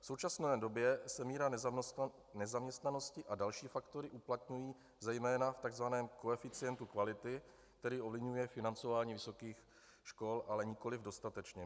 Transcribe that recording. V současné době se míra nezaměstnanosti a další faktory uplatňují zejména v takzvaném koeficientu kvality, který ovlivňuje financování vysokých škol, ale nikoliv dostatečně.